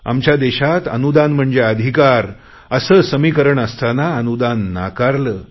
आमच्या देशात अनुदान म्हणजे अधिकार असे समीकरण असताना अनुदान नाकारले